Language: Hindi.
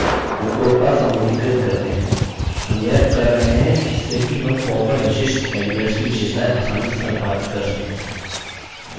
हम यह कर रहे हैं जिससे कि हम form पर विशिष्ट elements की विशेषताएँ आसानी से सम्पादित कर सकें